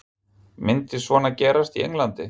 Myndi svona gerast í Englandi?